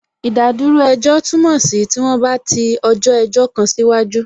Ìdádúró ejọ́ túmọ̀ sí tí wọ́n bá ti ọjọ́ ẹjọ́ kan sí waju